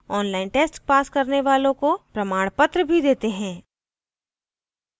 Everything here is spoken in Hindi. online test pass करने वालों को प्रमाणपत्र भी देते हैं